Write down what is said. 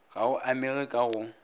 ga o amege ka go